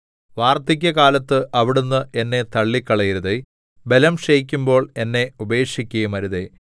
വാർദ്ധക്യകാലത്ത് അവിടുന്ന് എന്നെ തള്ളിക്കളയരുതേ ബലം ക്ഷയിക്കുമ്പോൾ എന്നെ ഉപേക്ഷിക്കുകയുമരുതേ